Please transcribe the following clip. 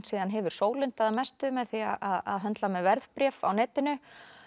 hefur sólundað að mestu með því að höndla með verðbréf á netinu